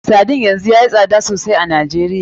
Sardine yanzu yayi tsada sosai a Najeriya.